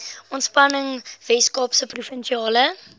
ontspanning weskaapse provinsiale